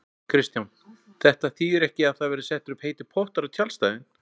Kristján: Þetta þýðir ekki að það verði settir upp heitir pottar á tjaldstæðin?